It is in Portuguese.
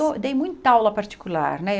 Eu dei muita aula particular, né?